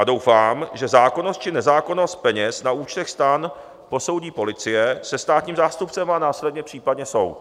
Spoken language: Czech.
A doufám, že zákonnost či nezákonnost peněz na účtech STAN posoudí policie se státním zástupcem a následně případně soud.